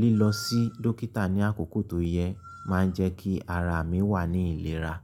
lílọ sí dọ́kítà ní àkókò tó yẹ máa ń jẹ́ kí ara mi wà ní ìlera.